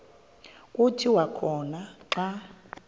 kuthi khona xa